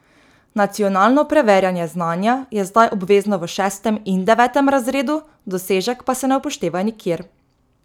Nacionalno preverjanje znanja je zdaj obvezno v šestem in devetem razredu, dosežek pa se ne upošteva nikjer.